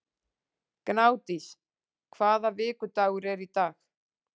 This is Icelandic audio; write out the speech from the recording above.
Gnádís, hvaða vikudagur er í dag?